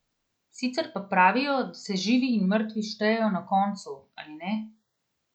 Sicer pa pravijo, da se živi in mrtvi štejejo na koncu, ali ne?